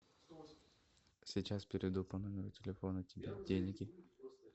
сейчас переведу по номеру телефона тебе деньги